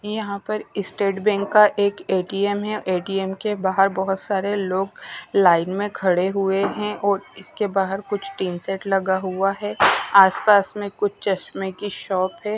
यहां पर state bank का एक ए_टी_एम है ए_टी_एम के बाहर बहुत सारे लोग लाइन में खड़े हुए हैं और इसके बाहर कुछ टीन सेट लगा हुआ है आसपास में कुछ चश्मे की शॉप है।